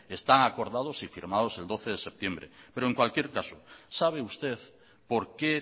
están acordados y firmados el doce de septiembre pero en cualquier caso sabe usted por qué